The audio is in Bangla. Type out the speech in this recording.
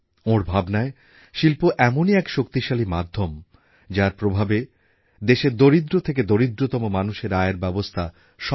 ওঁর ভাবনায় শিল্প এমনই এক শক্তিশালী মাধ্যম যার প্রভাবে দেশের দরিদ্র থেকে দরিদ্রতম মানুষের আয়ের ব্যবস্থা সম্ভব হবে